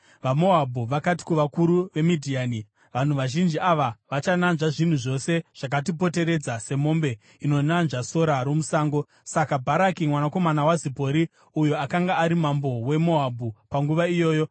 VaMoabhu vakati kuvakuru veMidhiani, “Vanhu vazhinji ava vachananzva zvinhu zvose zvakatipoteredza, semombe inonanzva sora romusango.” Saka Bharaki mwanakomana waZipori, uyo akanga ari Mambo weMoabhu panguva iyoyo,